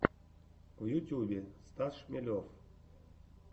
в ютюбе стас шмелев